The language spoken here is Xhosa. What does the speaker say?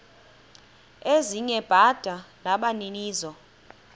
ezinye bada nabaninizo